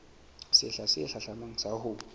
sehla se hlahlamang sa ho